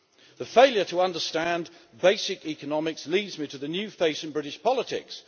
The failure to understand basic economics leads me to the new face in British politics.